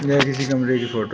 यह किसी कमरे की फोटो --